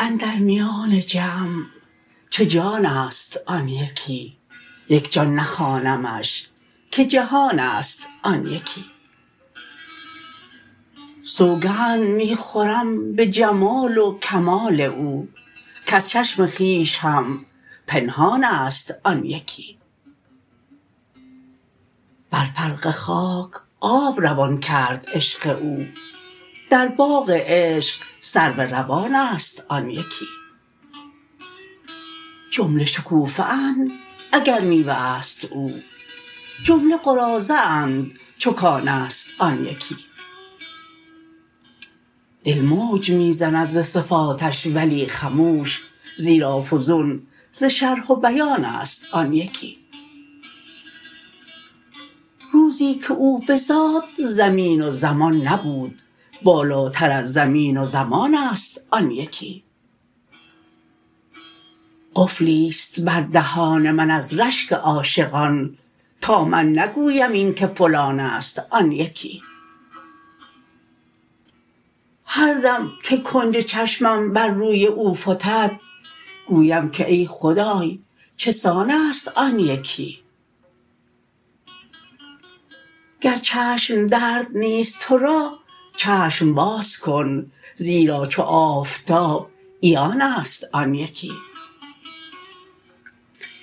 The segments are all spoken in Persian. اندر میان جمع چه جان است آن یکی یک جان نخوانمش که جهان است آن یکی سوگند می خورم به جمال و کمال او کز چشم خویش هم پنهان است آن یکی بر فرق خاک آب روان کرد عشق او در باغ عشق سرو روان است آن یکی جمله شکوفه اند اگر میوه است او جمله قراضه اند چو کان است آن یکی دل موج می زند ز صفاتش ولی خموش زیرا فزون ز شرح و بیان است آن یکی روزی که او بزاد زمین و زمان نبود بالاتر از زمین و زمان است آن یکی قفلی است بر دهان من از رشک عاشقان تا من نگویم این که فلان است آن یکی هر دم که کنج چشمم بر روی او فتد گویم که ای خدای چه سان است آن یکی گر چشم درد نیست تو را چشم باز کن زیرا چو آفتاب عیان است آن یکی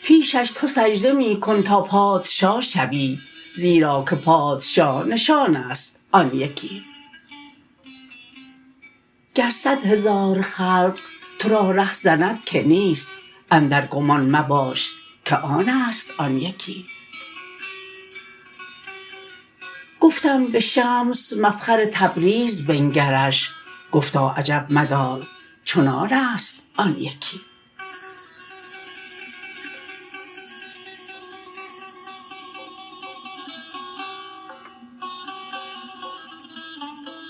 پیشش تو سجده می کن تا پادشا شوی زیرا که پادشاه نشان است آن یکی گر صد هزار خلق تو را رهزند که نیست اندر گمان مباش که آن است آن یکی گفتم به شمس مفخر تبریز بنگرش گفتا عجب مدار چنان است آن یکی